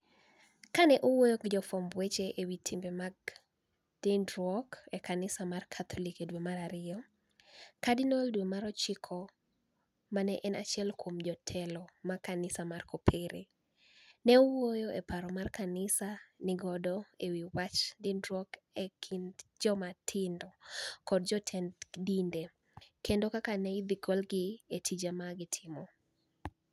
Ka ni e owuoyo gi jofwamb weche e wi timbe mag niinidruok e kaniisa mar Katholik e dwe mar ariyo, kardinial dwe mar ochiko ma ni e eni achiel kuom jotelo mag kaniisa mar kopere, ni e owuoyo e wi paro ma kaniisa ni e niigo e wi wach niinidruok e kinid joma tinido kod jotenid dinide, kenido kaka ni e idhi golgi e tije ma ni e gitimo.